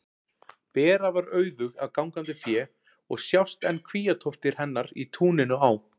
Bera var auðug af gangandi fé og sjást enn kvíatóftir hennar í túninu á